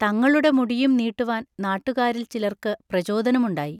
തങ്ങളുടെ മുടിയും നീട്ടുവാൻ നാട്ടുകാരിൽച്ചിലർക്ക് പ്രചോദനമുണ്ടായി.